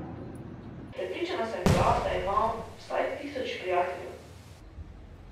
Prepričana sem bila, da ima vsaj tisoč prijateljev.